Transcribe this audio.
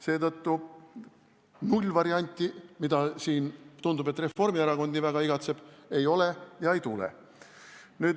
Seetõttu nullvarianti, mida Reformierakond tundub nii väga igatsevat, ei ole ega tule.